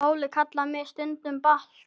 Óli kallar mig stundum Balta